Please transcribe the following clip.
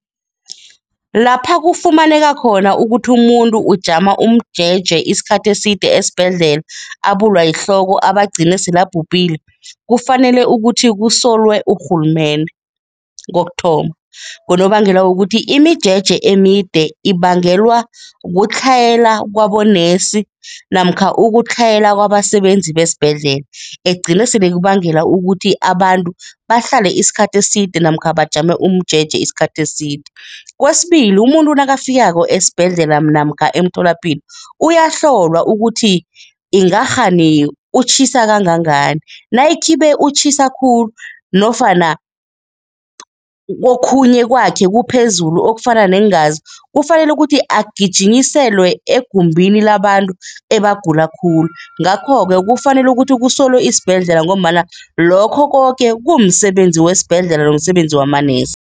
Lapha kufumaneka khona ukuthi umuntu ujama umjeje isikhathi eside esibhedlela, abulwa yihloko abe agcine sele abhubhile, kufanele ukuthi kusolwe urhulumende. Kokuthoma, ngonobangela wokuthi imijeje emide ibangelwa kutlhayela kwabonesi namkha ukutlhayela kwabasebenzi besibhedlela, egcina sele kubangela ukuthi abantu bahlale isikhathi eside namkha bajame umjeje isikhathi eside. Kwesibili, umuntu nakafikako esibhedlela namkha emtholapilo, uyahlolwa ukuthi ingakghani utjhisa kangangani. Nayikhibe utjhisa khulu nofana okhunye kwakhe kuphezulu okufana neengazi, kufanele ukuthi agijinyiselwe egumbini labantu ebagula khulu. Ngakho-ke kufanele ukuthi kusolwe isibhedlela ngombana lokho koke kumsebenzi wesibhedlela nomsebenzi wamanesi.